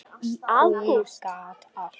Hún gat allt.